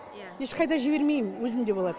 ешқайда жібермеймін өзімде болады